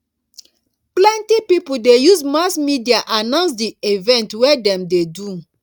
plenty pipo dey use mass media announce di event wey dem dey do